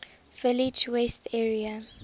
village west area